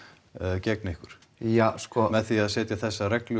gegn ykkur ja sko með því að setja reglu og